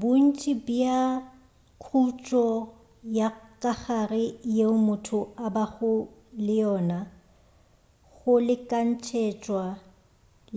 bontši bja khutšo ya kagare yeo motho a bago le yona go lekantšetšwa